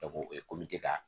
o ye ka